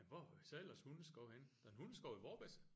Men hvor har I så ellers hundeskov henne? Der er en hundeskov i Vorbasse